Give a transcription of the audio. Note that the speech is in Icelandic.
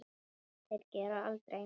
Sem þeir gera aldrei!